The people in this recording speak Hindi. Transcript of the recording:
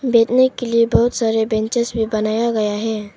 बैठने के लिए बहुत सारे बेंचस भी बनाया गया है।